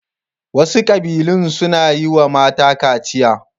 Wasu ƙabilun suna yi wa mata kaciya.